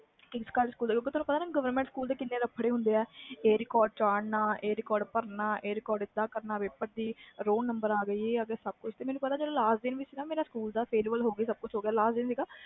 ਤੁਹਾਨੁੰ ਪਤਾ govrment school ਦੇ ਕੀਨੇ ਲਾਫੜੇ ਹੁੰਦਾ ਆ ਕਾਢੀ ਆਹ record ਕਦੀ ਉਹ record regesiter ਤੇ ਚੜ੍ਹਨਾ ਕਦੇ ਰੋਲ ਨੰਬਰ ਆ ਕੇ ਜਦੋ ਮੇਰੇ ਸਕੂਲ ਦਾ last day ਸੀ ਨਾ farewell ਹੋ ਗਈ